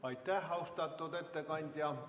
Aitäh, austatud ettekandja!